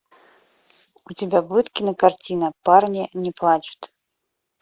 у тебя будет кинокартина парни не плачут